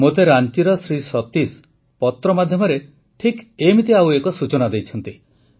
ମୋତେ ରାଂଚିର ଶ୍ରୀ ସତୀଶ ପତ୍ର ମାଧ୍ୟମରେ ଠିକ୍ ଏମିତି ଆଉ ଏକ ସୂଚନା ଦେଇଛନ୍ତି